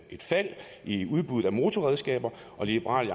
et fald i udbuddet af motorredskaber og liberal